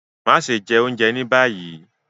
Maṣe jẹ ounjẹ ni bayi